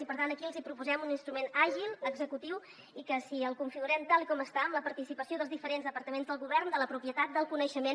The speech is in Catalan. i per tant aquí els hi proposem un instrument àgil executiu i que si el configurem tal com està amb la participació dels diferents departaments del govern de la propietat del coneixement